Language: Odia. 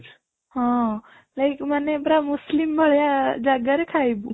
ହଁ like ମାନେ ପୁରା Muslim ଭଳିଆ ଜାଗାରେ ଖାଇବୁ